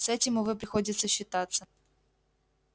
с этим увы приходится считаться